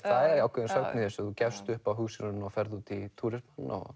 ákveðin sögn í þessu þú gefst upp á hugsjóninni og ferð út í túrisma